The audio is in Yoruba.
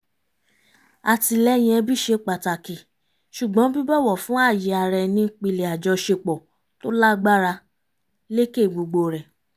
àtìlẹ́yìn ẹbí ṣe pàtàkì ṣùgbọ́n bíbọ̀wọ̀ fún ààyè ara ẹni ń pilẹ̀ àjọṣepọ̀ tò lágbára lékè gbogbo rẹ̀